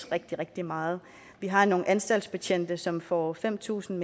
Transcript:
rigtig rigtig meget vi har nogle anstaltsbetjente som får fem tusind